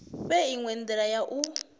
fhe inwe ndila ya u